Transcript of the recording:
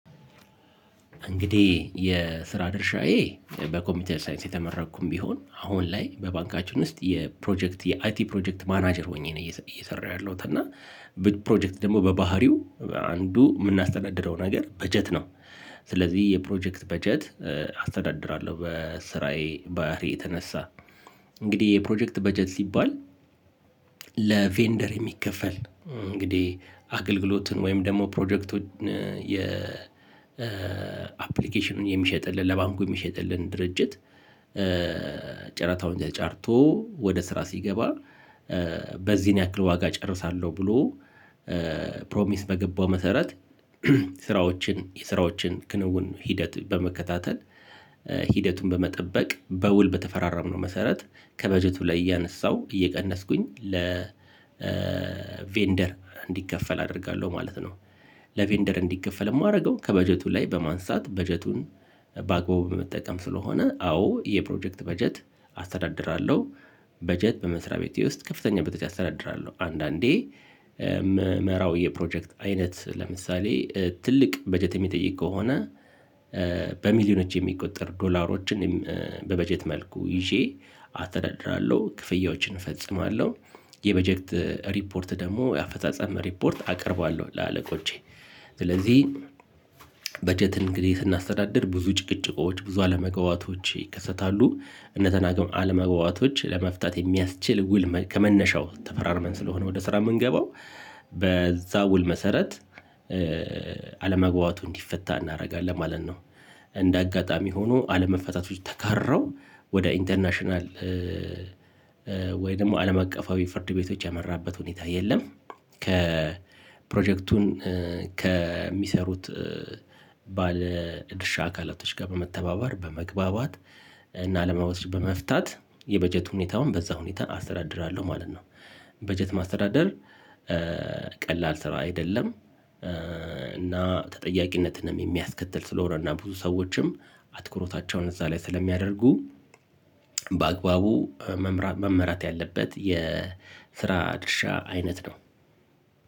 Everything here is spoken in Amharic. እንግዲህ የስራ ድርሻዬ በኮምፒውተር ሳይንስ የተመረኩም ቢሆን አሁን ላይ በባንካችን ውስጥ የፕሮጀክት የአይቲ ፕሮጀክት ማናጀር ሆኜ ነው እየሰ እየሰራሁ ያለሁት እና በፕሮጀክት ደግሞ በባህሪው አንዱ የምናስተዳድረው ነገር በጀት ነው። ስለዚህ የፕሮጀክት በጀት አስተዳድራለሁ በስራዬ ባህሪ የተነሳ። እንግዲህ የፕሮጀክት በጀት ሲባል ለቬንደር የሚከፈል እንግዲህ አገልግሎትን ወይም ደግሞ ፕሮጀክቱን የ አፕሊኬሽኑን የሚሸጥልን ለባንኩ የሚሸጥልን ድርጅት ጨረታውን ተጫርቶ ወደ ስራ ሲገባ በዚህን ያክል ዋጋ እጨርሳለሁ ብሎ ፕሮሚስ በገባው መሰረት ስራዎችን የስራዎችን ክንውን ሂደት በመከታተል ሂደቱን በመጠበቅ በውል በተፈራረምነው መሰረት ከበጀቱ ላይ እያነሳሁ እየቀነስኩኝ ለ ቬንደር እንዲከፈል አደርጋለሁ ማለት ነው። ለቬንደር እንዲከፈል የማደርገው ከበጀቱ ላይ በማንሳት በጀቱን በአግባቡ በመጠቀም ስለሆነ አዎ የፕሮጀክት በጀት አስተዳድራለሁ። በጀት በመስሪያ ቤቴ ውስጥ ከፍተኛ በጀት አሰተዳድራለሁ። አንዳንዴ የምመራው የፕሮጀክት አይነት ለምሳሌ ትልቅ በጀት የሚጠይቅ ከሆነ። በሚሊዮኖች የሚቆጠር ዶላሮችን በበጀት መልኩ ይዤ አተዳድራለሁ ክፍያዎችን እፈጽማለሁ። የበጀት ሪፖርት ደግሞ አፈጻጸም ሪፖርት አቀርባለሁ ለአለቆቼ። ስለዚህ በጀት እንግዲህ ስናስተዳድር ብዙ ጭቅጭቆች ብዙ አለመግባባቶች ይከሰታሉ እና ተናግሮም አለመግባባቶች ለመፍታት የሚያስችል ውል ከመነሻው ተፈራርመን ስለሆነ ወደ ስራ የምንገባው በዛ ውል መሰረት አለመግባባቱ እንዲፈታ እናደርጋለን ማለት ነው። እንደ አጋጣሚ ሆኖ አለመፈታቶች ተካረረው ወደ ኢንተርናሽናል ወይ ደግሞ አለም አቀፋዊ ፍርድ ቤቶች ያመራበት ሁኔታ የለም። ከፕሮጀክቱን ከሚሠሩት ባለ ድርሻ አካላቶች ጋር በመተባበር በመግባባት እና አለመግባባቶች በመፍታት የበጀቱ ሁኔታውን በዛ ሁኔታ አስተዳድራለሁ ማለት ነው። በጀት ማስተዳደር ቀላል ስራ አይደለም። እና ተጠያቂነትንም የሚያስከትል ስለሆነ እና ብዙ ሰዎችም አትኩሮታቸውን እዛ ላይ ስለሚያደርጉ በአግባቡ መምራ መመራት ያለበት የስራ ድርሻ አይነት ነው።